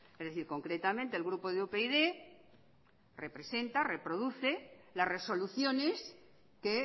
es decir concretamente el grupo de upyd representa reproduce las resoluciones que